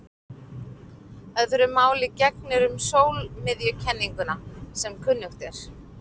Öðru máli gegnir um sólmiðjukenninguna sem kunnugt er.